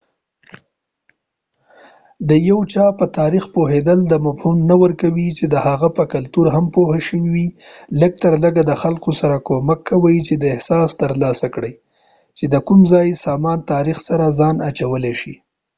د یو چا په تاریخ پوهیدل دا مفهوم نه ورکوي چې د هغه په کلتور هم پوهه شوي یې لږ تر لږه دا خلکو سره کومک کوي چې دا احساس تر لاسه کړي چې کوم ځای د سازمان د تاریخ سره ځان اچولی شي